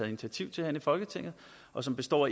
initiativ til her i folketinget og som består